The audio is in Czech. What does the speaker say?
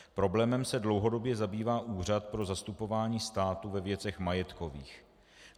Problémem se dlouhodobě zabývá Úřad pro zastupování státu ve věcech majetkových.